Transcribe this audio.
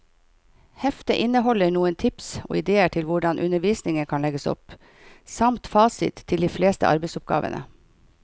Heftet inneholder noen tips og idéer til hvordan undervisningen kan legges opp, samt fasit til de fleste arbeidsoppgavene.